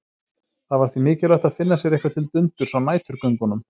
Það var því mikilvægt að finna sér eitthvað til dundurs á næturgöngunum.